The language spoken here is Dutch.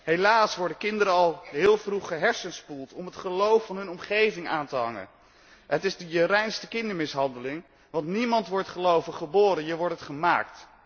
Helaas worden kinderen al heel vroeg gehersenspoeld om het geloof van hun omgeving aan te hangen. Het is je reinste kindermishandeling, want niemand wordt gelovig geboren, je wordt het gemaakt.